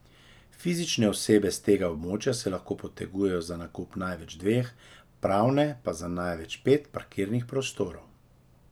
Fizične osebe s tega območja se lahko potegujejo za nakup največ dveh, pravne pa za največ pet parkirnih prostorov.